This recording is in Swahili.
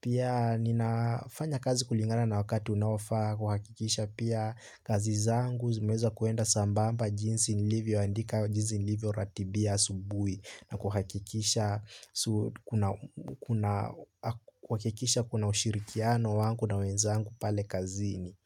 Pia ninafanya kazi kulingana na wakati unawafaa kuhakikisha pia kazi zangu zimeza kuenda sambamba jinsi nilivyo andika jinsi nilivyo ratibia asubui. Na kuhakikisha kuna ushirikiano wangu na wenzangu pale kazini.